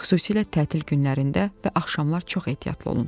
Xüsusilə tətil günlərində və axşamlar çox ehtiyatlı olun.